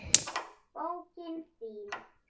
Bókin þín